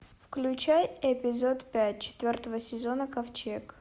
включай эпизод пять четвертого сезона ковчег